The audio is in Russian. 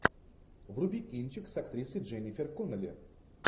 вруби кинчик с актрисой дженнифер коннелли